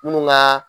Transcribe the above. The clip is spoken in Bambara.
Minnu ka